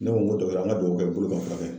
Ne ko n ko dɔgɔkɛ an ka dugawu kɛ bolo ka fura kɛ.